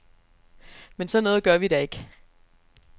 Men sådan noget gør vi da ikke.